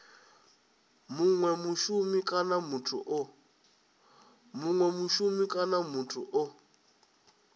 munwe mushumi kana muthu o